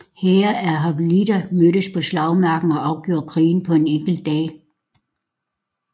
Hære af hoplitter mødtes på slagmarken og afgjorde krigen på en enkelt dag